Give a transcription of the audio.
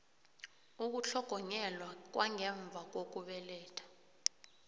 ukutlhogonyelwa kwangemva kokubeletha